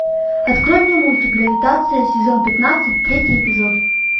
открой мне мультик гравитация сезон пятнадцать третий эпизод